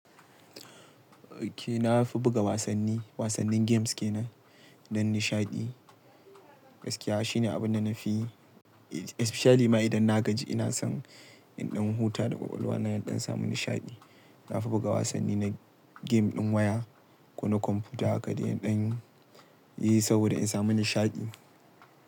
Okay, na fi buga wasanni, wasannin games kenan don nishaɗi. Gaskiya shine abin da na fi, especially ma idan na gaji ina son in ɗan huta da ƙwaƙwalwa na don samun nishaɗi. Na fi buga wasanni na game ɗin waya ko na kwamfuta haka dai in ɗan yi saboda in samu nishaɗi.